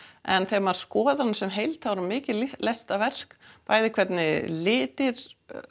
en þegar maður skoðar hana sem heild þá er hún mikið listaverk bæði hvernig litir